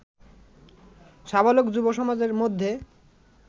সাবালক যুব সমাজের মধ্যে